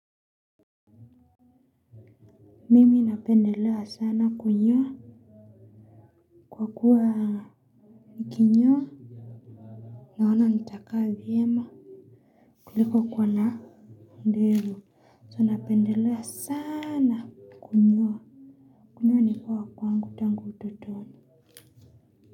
Mimi napendelea sana kunyoa. Kwa kuwa nikinyoa. Naona nitakaa vyema. Kuliko kuwa na ndevu. So napendelea sana kunyoa. Kunyoa ni poa kwangu tangu utotoni.